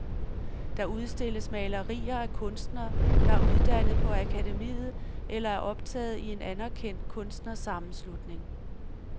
Der udstilles malerier af kunstnere, der er uddannet på akademiet eller er optaget i en anerkendt kunstnersammenslutning.